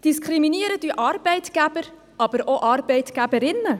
Diskriminieren tun Arbeitgeber, aber auch Arbeitgeberinnen.